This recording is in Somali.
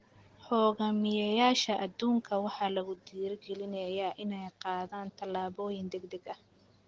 Hoggaamiyeyaasha adduunka waxaa lagu dhiirrigelinayaa inay qaadaan tallaabooyin degdeg ah.